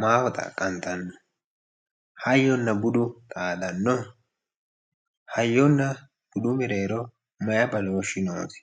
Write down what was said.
maaho xaqanittano ,hayyonna budu xaadano, hayyonna budu mereero maayi badooshi noosi ?